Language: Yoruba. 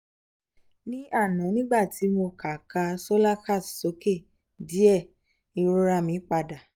ní àná nígbà tí mo ka ka slokas sókè díẹ̀ ìrora mi padà